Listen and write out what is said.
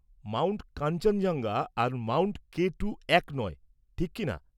Mount Kanchenjunga আর mount K two এক নয়, ঠিক কি না?